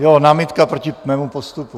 Jo, námitka proti mému postupu.